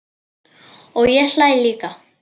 Og ég hlæ líka.